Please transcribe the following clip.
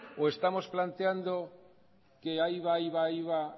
o estamos planteando que ahí va ahí va ahí va